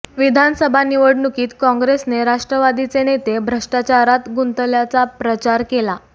विधानसभा निवडणुकीत काँग्रेसने राष्ट्रवादीचे नेते भ्रष्टाचारात गुंतल्याचा पचार केला